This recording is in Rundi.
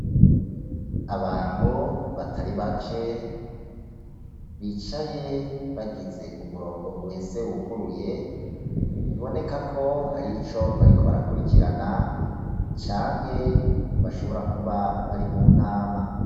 Abantu batari bake bicaye bagize umurongo uhese wuguruye, biboneka ko hari ico bariko barakurikirana canke bashobora kuba bari mu nama.